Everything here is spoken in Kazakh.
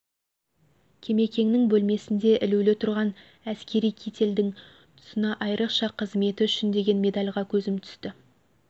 кемекеңнің бөлмесінде ілулі тұрған әскери кительдің тұсында айрықша қызметі үшін деген медальға көзім түсті